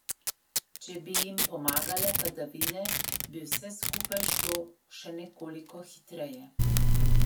Če pa bi jim pomagale padavine, bi vse skupaj šlo še nekoliko hitreje.